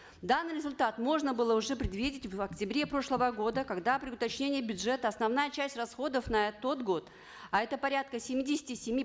данный результат можно было уже предвидеть в октябре прошлого года когда при уточнении бюджета основная часть расходов на тот год а это порядка семидесяти семи